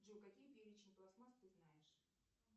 джой какие перечни пластмасс ты знаешь